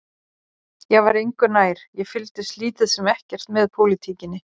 Ég var engu nær, ég fylgdist lítið sem ekkert með pólitíkinni.